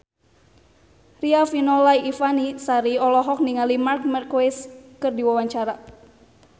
Riafinola Ifani Sari olohok ningali Marc Marquez keur diwawancara